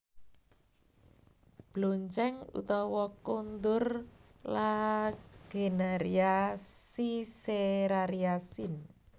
Bloncèng utawa Kondur Lagenaria siceraria sin